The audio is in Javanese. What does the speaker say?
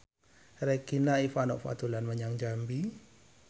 Regina Ivanova dolan menyang Jambi